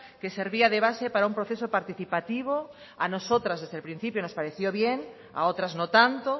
que servía de base para un proceso participativo a nosotras desde el principio nos pareció bien a otras no tanto